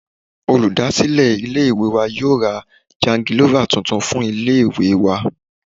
Olúdásílè ilé ìwé wa yóò ra jangilọ́fà tuntun fún ilé ìwé wa.